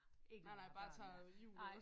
Nej nej bare tager hjul og